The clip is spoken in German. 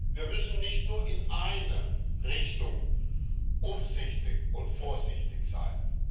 Wir müssen nicht nur in eine Richtung umsichtig und vorsichtig sein.